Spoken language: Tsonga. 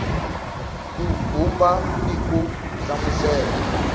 ku vumba ni ku hlamusela